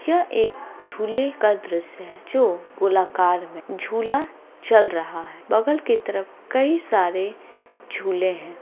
यह एक झूले का दृश्य है जो गोलाकार में है झूला चल रहा है बगल की तरफ कई सारे झूले है।